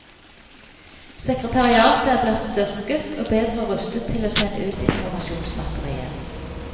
Sekretariatet er blitt styrket og bedre rustet til å sende ut informasjonsmateriell.